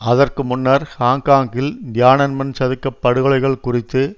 அதற்கு முன்னர் ஹாங்க்காங்கில் தியானன்மன் சதுக்க படுகொலைகள் குறித்து